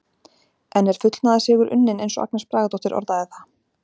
En er fullnaðarsigur unnin eins og Agnes Bragadóttir orðaði það?